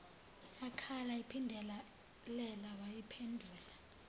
eyakhala iphindelela wayiphendula